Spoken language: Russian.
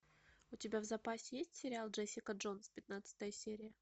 у тебя в запасе есть сериал джессика джонс пятнадцатая серия